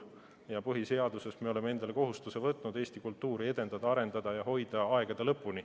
Me oleme põhiseadusega võtnud endale kohustuse Eesti kultuuri edendada, arendada ja hoida aegade lõpuni.